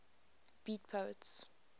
beat poets